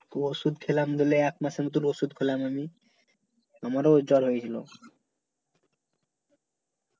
ওষুধ খেলাম ধরলে একমাসের মত ওষুধ খেলাম আমি আমারও জ্বর হয়েছিলো